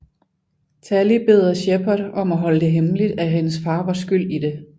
Tali beder Shepard om at holde det hemmeligt at hendes far var skyld i det